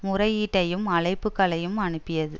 முறையீட்டையும் அழைப்புக்களையும் அனுப்பியது